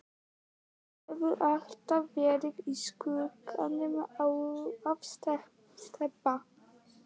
Hann hefur alltaf verið í skugganum af Stebba.